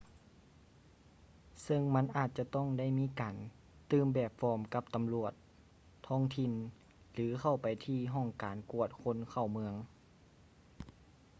ເຊິ່ງມັນອາດຈະຕ້ອງໄດ້ມີການຕື່ມແບບຟອມກັບຕຳຫຼວດທ້ອງຖິ່ນ ຫຼື ເຂົ້າໄປທີ່ຫ້ອງການກວດຄົນເຂົ້າເມືອງ